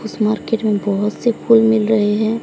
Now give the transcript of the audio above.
उस मार्केट में बहोत से फूल मिल रहे हैं।